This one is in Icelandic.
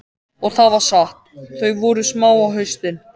Og það var satt, þau voru smá á haustin.